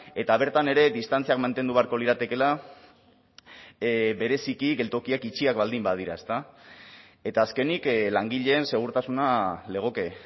eta bertan ere distantziak mantendu beharko liratekeela bereziki geltokiak itxiak baldin badira ezta eta azkenik langileen segurtasuna legoke